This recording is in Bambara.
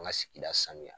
An ka sigida sanuya